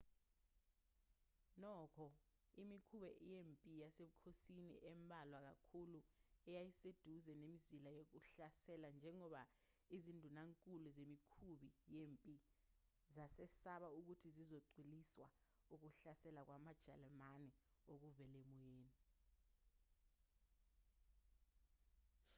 nokho imikhumbi yempi yasebukhosini embalwa kakhulu eyayiseduze nemizila yokuhlasela njengoba izindunankulu zemikhubi yempi zazesaba ukuthi zizocwiliswa ukuhlasela kwamajalimane okuvela emoyeni